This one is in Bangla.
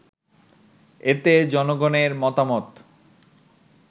এতে জনগণের মতামত